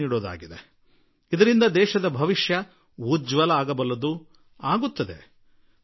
ಹೆಚ್ಚು ಜಾಗೃತಗೊಳಿಸೋಣ ಮತ್ತು ಅಗಲೇ ದೇಶ ಮುನ್ನಡೆದು ಉಜ್ವಲ ಭವಿಷ್ಯ ನಿರ್ಮಿಸಿಕೊಳ್ಳಲು ಸಾಧ್ಯ ಮತ್ತು ನಿರ್ಮಿಸಿಕೊಳ್ಳುತ್ತದೆ